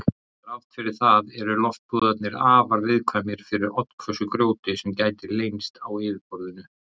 Þrátt fyrir það eru loftpúðarnir afar viðkvæmir fyrir oddhvössu grjóti sem gæti leynst á yfirborðinu.